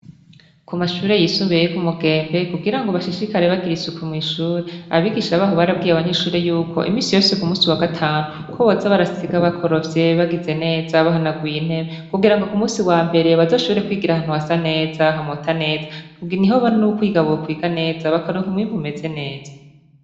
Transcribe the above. Ku mashure yisumbuye yo ku Mugembe, kugira bashishikare bagira isuku mw'ishure, abigisha baho barabwiye abanyeshure yuko, imisi yose yo ku wa gatanu, ko boza barasiga bakorofye, bagize neza, bahanaguye intebe, kugira ku musi wa mbere baze bashobore kwigira ahantu hasa neza, hamota neza, niho n'ukwiga bokwiga neza, bakaronk'umwibu umeze neza.